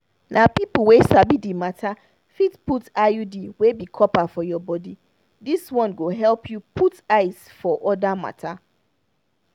na people wey sabi the matter fit put iud wey be copper for your body. this this one go help you put eyes for other matter.